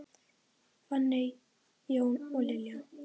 Fanney, Jón og Lilja.